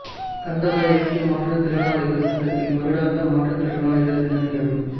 கந்தளாய் ஐக்கிய மாற்றுத் திறனாளிகள் சங்கத்தின் வருடாந்த மாற்றுத் திறனாளிகள் தின நிகழ்வு